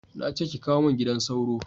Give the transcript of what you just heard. Na ce ki kawo mun gidan sauro